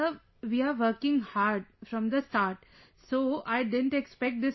Sir, we are working hard from the start so, I didn't expect this